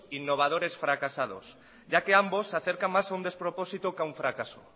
innovadores fracasados ya que ambos se acercan más a un despropósito que a un fracaso